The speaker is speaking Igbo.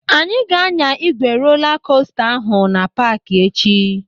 Anyị ga-anya ígwè rola kosta ahụ na paaki echi.